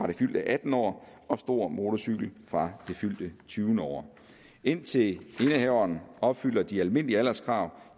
det fyldte attende år og stor motorcykel fra det fyldte tyvende år indtil indehaveren opfylder de almindelige alderskrav